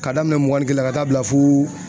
Ka daminɛ mugan ni kelen na ka taa bila fo